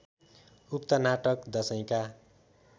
उक्त नाटक दशैंका